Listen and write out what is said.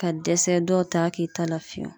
Ka dɛsɛ dɔw t'a k'i ta la fiyewu